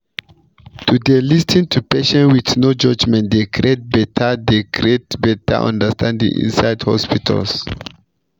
to dey lis ten to patients with no judgement dey create better dey create better understanding inside hospitals